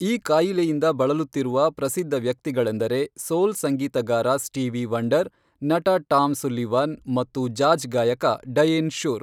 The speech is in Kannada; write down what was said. ಈ ಕಾಯಿಲೆಯಿಂದ ಬಳಲುತ್ತಿರುವ ಪ್ರಸಿದ್ಧ ವ್ಯಕ್ತಿಗಳೆಂದರೆ ಸೋಲ್ ಸಂಗೀತಗಾರ ಸ್ಟೀವಿ ವಂಡರ್, ನಟ ಟಾಮ್ ಸುಲ್ಲಿವಾನ್ ಮತ್ತು ಜಾಝ್ ಗಾಯಕ ಡಯೇನ್ ಶುರ್.